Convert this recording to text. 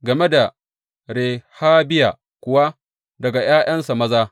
Game da Rehabiya kuwa, daga ’ya’yansa maza.